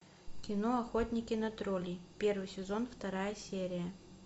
кино охотники на троллей первый сезон вторая серия